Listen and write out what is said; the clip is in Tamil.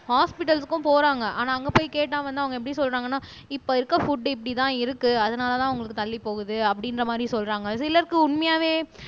ஹாஸ்பிடல்க்கும் போறாங்க ஆனா அங்க போய் கேட்டா வந்து அவங்க எப்படி சொல்றாங்கன்னா இப்ப இருக்க புட் இப்படித்தான் இருக்கு அதனாலதான் உங்களுக்கு தள்ளி போகுது அப்படின்ற மாதிரி சொல்றாங்க சிலருக்கு உண்மையாவே